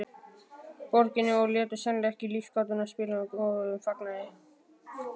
Borginni og létu sennilega ekki lífsgátuna spilla góðum fagnaði.